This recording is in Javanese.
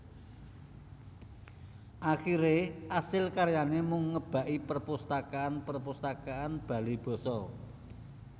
Akhire asil karyane mung ngebaki perpustakaan perpustakaan bale basa